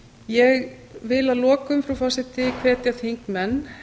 ég vil að lokum á forseti hvetja þingmenn